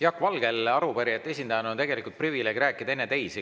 Jaak Valgel arupärijate esindajana on tegelikult privileeg rääkida enne teisi.